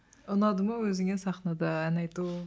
ұнады ма өзіңе сахнада ән айту